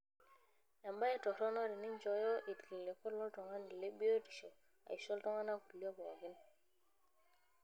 Embaye toronok teninchooyo ilkiliku loltungani le biotisho aisho iltungana kulie pookin.